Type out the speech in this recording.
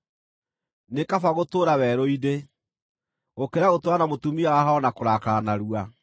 Nĩ kaba gũtũũra werũ-inĩ, gũkĩra gũtũũra na mũtumia wa haaro na kũrakara narua.